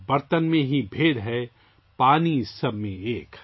برتن میں ہی بھید ہے ، پانی سب میں ایک